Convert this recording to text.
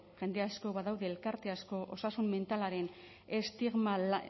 jende asko badaude elkarte asko osasun mentalaren estigma